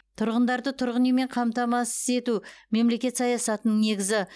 тұрғындарды тұрғын үймен қамтамасыз ету мемлекет саясатының негізі